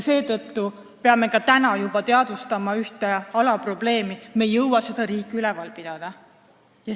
Seetõttu peame juba täna teadvustama ühte alaprobleemi: me ei jõua seda riiki üleval pidada.